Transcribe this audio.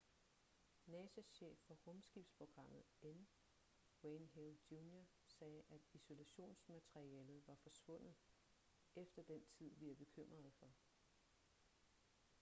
nasas chef for rumskibsprogrammet n wayne hale jr sagde at isolationsmaterialet var forsvundet efter den tid vi er bekymrede for